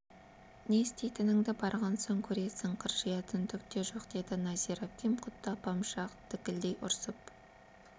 не істейтініңді барған соң көресің қыржиятын түк те жоқ деді нәзира әпкем құдды апамша дікілдей ұрсып